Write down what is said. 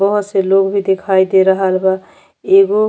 बोहोत से लोग भी दिखाई दे रहल बा। एगो --